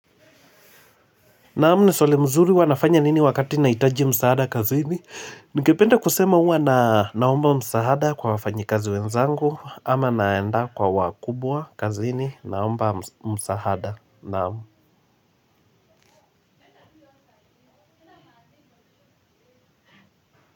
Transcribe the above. Naam ni swali mzuri huwa nafanya nini wakati nahitaji msaada kazini? Ningependa kusema huwa na naomba msaada kwa wafanyikazi wenzangu ama naenda kwa wakubwa kazini naomba msaada. Naam.